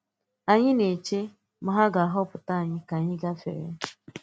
Ànyị̀ na-echē ma ha ga-ahàpụ̀ anyị̄ ka anyị̄ gàfè̄ré̄.